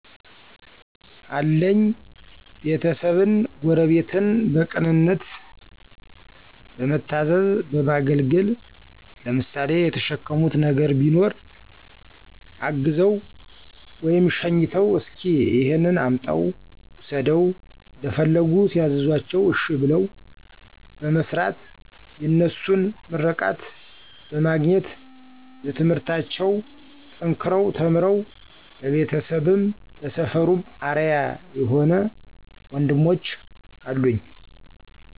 አለኝ ቤተሰብን፣ ጎረቤትን በቅንነት በመታዘዝ በማገልገል ለምሳሌ የተሸከሙት ነገር ቢኖር አግዘው/ሸኝተው እሰኪ እሄን አምጣው ውሰደው እንደፈለጉ ሲያዝዟቸው እሸ ብለው በመስራት የነሱን ምርቃት በማግኘት በትምህርታቸው ጠንከረው ተምረው ለቤተሰብም ለሰፈሩም አርያ የሆ ወንድሞች አሉኝ።